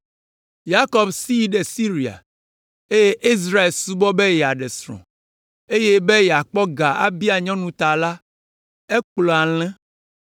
Yakob si yi ɖe Siria, eye Israel subɔ be yeaɖe srɔ̃, eye be yeakpɔ ga abia nyɔnu ta la, ekplɔ alẽ.